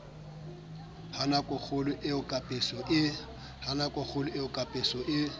ha nakokgolo eo kapeso e